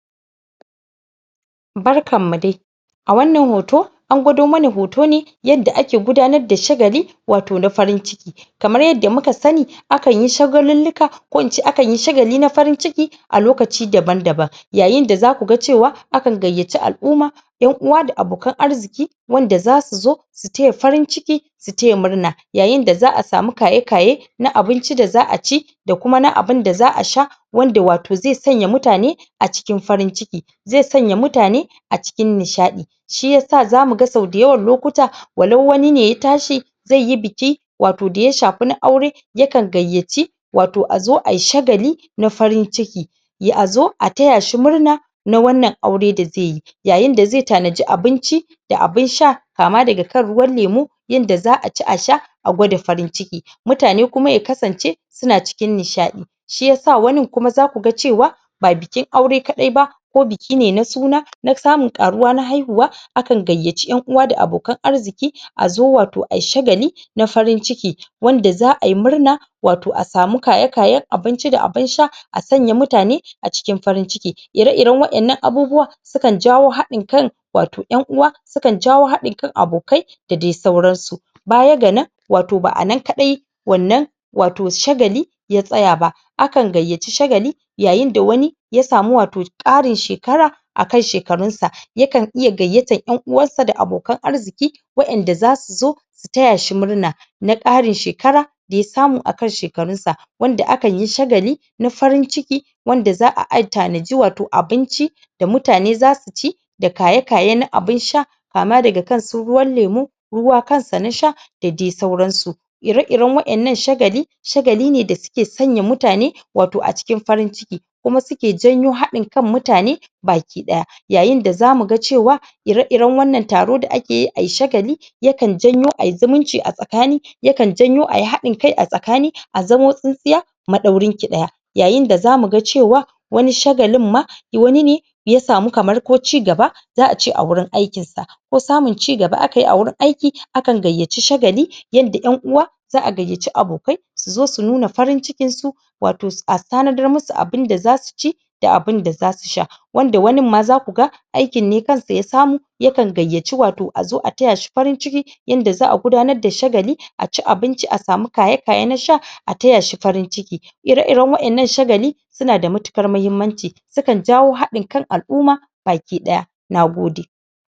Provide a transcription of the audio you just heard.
Barkan mu dai! A wannan hoto, an gwado mana hoto ne yadda ake gudanar da shagali, wato na farin ciki Kamar yadda muka sani akan yi shagalulluka ko ince akan yi shagali na farin ciki a lokaci daban-daban. Yayin da za uka ga cewa akan gayyaci al'umma, ƴan-uwa da abokan arziƙi wanda za su zo su taya farin ciki, su taya murna. Yayin da za'a samu kaye-kaye na abinci da za'a ci, da kuma na abunda za'a sha wanda wato zai sanya mutane a cikin farin ciki, zai sanya mutane a cikin nishaɗi. Shi yasa za mu ga sau da yawan lokuta walau wani ne ya tashi zai yi biki wato da ya shafi na aure yakan gayyaci wato azo ayi shagali na farin ciki. ya azo a taya shi murna na wannan aure da zai yi. Yayin da zai tanaji abinci da abun sha kama daga kan ruwan lemu, yadda za'a ci a sha, a gwada farin ciki, mutane kuma ya kasance su na cikin nishaɗi. Shi yasa wanin kuma za ku ga cewa Ba bikin aure kaɗai ba, ko biki ne na suna na samun ƙaruwa na haihuwa akan gayyaci ƴan-uwa da abokan arziƙi, azo wato ayi shagali na farin ciki. Wanda za'a yi murna wato a samu kaye-kayen abinci da abun sha, a sanya mutane a cikin farin ciki. Ire-iren waƴannan abubuwa sukan jawo haɗin kai wato ƴan-uwa, sukan jawo haɗin kan abokai da dai sauran su. Baya ga nan wato ba ana kaɗai wannan wato shagali ya tsaya ba. Akan gayyaci shagali yayin da wani ya samu wato ƙarin shekara akan shekarun sa, yakan iya gayyatan ƴan-uwansa da abokan arziƙi, waƴanda za su zo su taya shi murna, na ƙarin shekara da ya samu akan shekarun sa. Wanda akan yi shagali na farin ciki wanda za'a ai tanaji wato abinci da mutane za su ci da kaye-kaye na abun sha. Kama daga kan su ruwan lemu, ruwa kansa na sha da dai sauransu. Ire-iren waƴannan shagali shagali ne da suke sanya mutane wato a cikin farin ciki. Kuma suke janyo haɗin kan mutane baki ɗaya. Yayin da za mu ga cewa ire-iren wannan taro da ake yi ayi shagali yakan janyo ayi zumunci a tsakani yakan janyo ayi haɗin kai a tsakani, a zamo tsintsiya maɗaurin ki ɗaya. Yayin da za mu ga cewa wani shagalin ma wani ne ya samu kamar ko cigaba za'a ce a wurin aikinsa ko samun cigaba aka yi a wurin aiki akan gayyaci shagali yadda ƴan-uwa za'a gayyaci abokai su zo, su nuna farin cikin su, wato a tanadar musu abunda za su ci da abun da za su sha. Wanda wanin ma za ku ga aikin ne kansa ya samu yakan gayyaci wato a zo a taya shi farin ciki yanda za'a gudanar da shagali, aci abinci a samu kaye-kaye na sha a taya shi farin ciki. Ire-iren waƴannan shagali su na da matuƙar mahimmanci, sukan jawo haɗin kan al'umma baki ɗaya. Nagode!